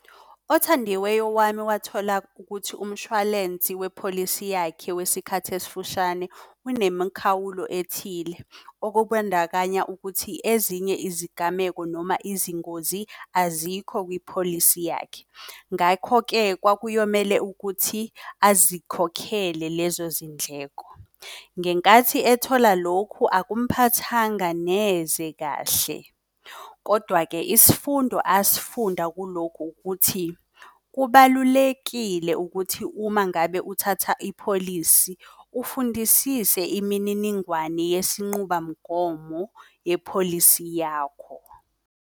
Othandiweyo wami wathola ukuthi umshwalensi wepholisi yakhe wesikhathi esifushane unemikhawulo ethile. Okubandakanya ukuthi ezinye izigameko noma izingozi azikho kwipholisi yakhe. Ngakho-ke kwakuyomele ukuthi azikhokhele lezo zindleko. Ngenkathi ethola lokhu akumphathanga neze kahle, kodwa-ke isifundo asifunda kuloku ukuthi. Kubalulekile ukuthi uma ngabe uthatha ipholisi ufundisise imininingwane yesinquba mgomo yepholisi yakho.